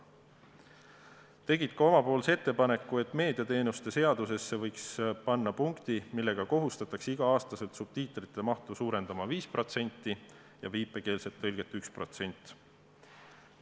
Nad tegid ka oma ettepaneku, et meediateenuste seadusesse võiks panna punkti, millega kohustatakse igal aastal subtiitrite mahtu suurendama 5% ja viipekeelset tõlget 1%.